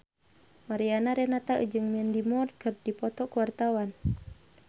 Mariana Renata jeung Mandy Moore keur dipoto ku wartawan